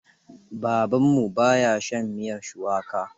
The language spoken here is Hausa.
Babanmu ba ya shan miyar shuwaka.